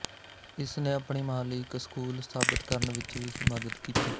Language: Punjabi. ਇਸ ਨੇ ਆਪਣੀ ਮਾਂ ਲਈ ਇਕ ਸਕੂਲ ਸਥਾਪਿਤ ਕਰਨ ਵਿਚ ਵੀ ਮਦਦ ਕੀਤੀ